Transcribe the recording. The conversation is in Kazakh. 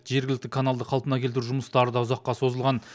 жергілікті каналды қалпына келтіру жұмыстары да ұзаққа созылған